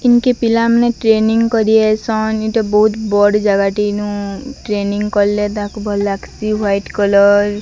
ଇନକେ ପିଲା ମାନେ ଟ୍ରେନିଙ୍ଗ କରା ଆଇସନ୍। ଏଇଟା ବହୁତ ବଡ଼ ଜାଗାଟେ। ଇନୁ ଟ୍ରେନିଙ୍ଗ କଲେ ତାହାକେ ଭଲ୍ ଲାଗସି। White colour --